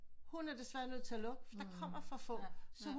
Hun er desværre nødt til at lukke for der kommer for få